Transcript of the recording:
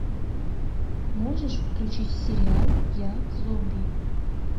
можешь включить сериал я зомби